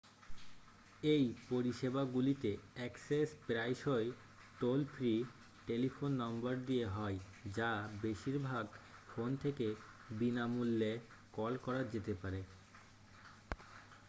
এই পরিষেবাগুলিতে অ্যাক্সেস প্রায়শই টোল-ফ্রি টেলিফোন নম্বর দিয়ে হয় যা বেশিরভাগ ফোন থেকে বিনা মূল্যে কল করা যেতে পারে